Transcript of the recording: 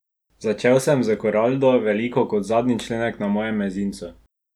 Začel sem s koraldo, veliko kot zadnji členek na mojem mezincu.